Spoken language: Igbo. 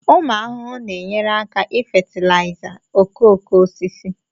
ụmụ ahụhụ na-enyere aka ifatilaiza okooko osisi